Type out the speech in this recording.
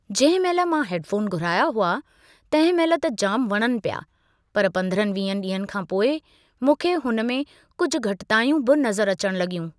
जंहिं महिल मां हेडफ़ोन घुराया हुआ तंहिं महिल त जाम वणनि पिया पर पंद्रहनि वीहनि ॾींहनि खां पोइ मूंखे हुन में कुझु घटितायूं बि नज़रु अचणु लगि॒यूं।